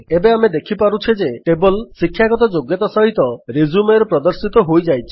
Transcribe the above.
ଏବେ ଆମେ ଦେଖୁଛେ ଯେ ଟେବଲ୍ ଶିକ୍ଷାଗତ ଯୋଗ୍ୟତା ସହିତ Resumeରେ ପ୍ରଦର୍ଶିତ ହୋଇଯାଇଛି